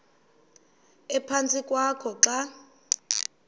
ephantsi kwakho xa